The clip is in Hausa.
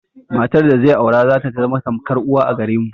Matar da zai aura zata zama tamkar uwa a gare mu.